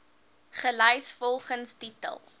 gelys volgens titel